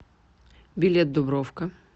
билет дубровка